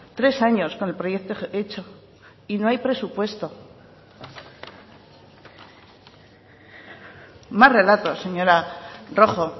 tres años con el proyecto hecho y no hay presupuesto más relatos señora rojo